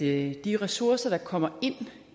er de ressourcer der kommer ind